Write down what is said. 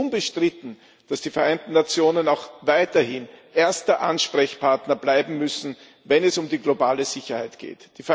Es ist unbestritten, dass die Vereinten Nationen auch weiterhin erster Ansprechpartner bleiben müssen, wenn es um die globale Sicherheit geht.